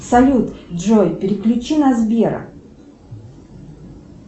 салют джой переключи на сбера